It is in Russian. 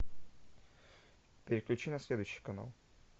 переключи на следующий канал